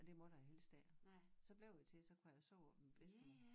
Og det måtte jeg helst ikke så blev det til så kunne jeg sove oppe ved min bedstemor